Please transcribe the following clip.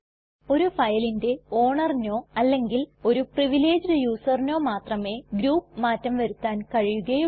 ഒരു ഫയലിന്റെ ownerനോ അല്ലെങ്കിൽ ഒരു പ്രിവിലേജ്ഡ് userനോ മാത്രമേ ഗ്രൂപ്പ് മാറ്റം വരുത്താൻ കഴിയുകയുള്ളൂ